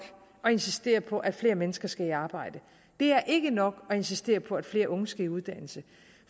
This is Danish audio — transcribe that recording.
at insistere på at flere mennesker skal i arbejde det er ikke nok at insistere på at flere unge skal i uddannelse